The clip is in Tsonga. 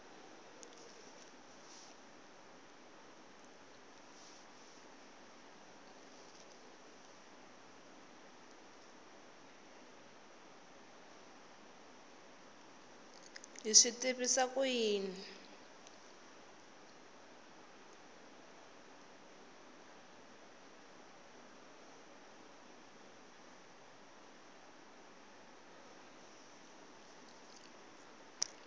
hi swi tivisa ku yini